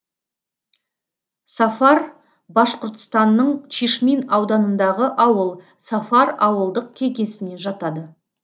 сафар башқұртстанның чишмин ауданындағы ауыл сафар ауылдық кеңесіне жатады